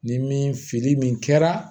Ni min fili min kɛra